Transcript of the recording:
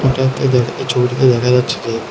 এই ছবিটিতে দেখা যাচ্ছে যে--